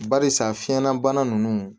Barisa fiɲɛlabana ninnu